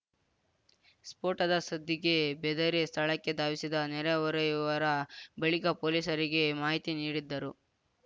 ಸ್ಫೋಟದ ಸದ್ದಿಗೆ ಬೆದರಿ ಸ್ಥಳಕ್ಕೆ ಧಾವಿಸಿದ ನೆರೆಹೊರೆಯವರ ಬಳಿಕ ಪೊಲೀಸರಿಗೆ ಮಾಹಿತಿ ನೀಡಿದ್ದರು